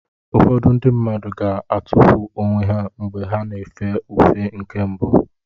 Ụfọdụ ndị mmadụ ga-atụfu onwe ha mgbe ha na-efe ufe nke mbụ.